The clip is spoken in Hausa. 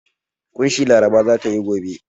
ƙunshi Laraba za ta yi gobe.